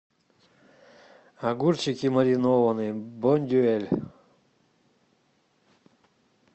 огурчики маринованные бондюэль